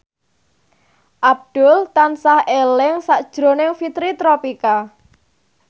Abdul tansah eling sakjroning Fitri Tropika